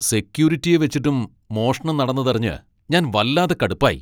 സെക്യൂരിറ്റിയെ വച്ചിട്ടും മോഷണം നടന്നതറിഞ്ഞ് ഞാൻ വല്ലാതെ കടുപ്പായി.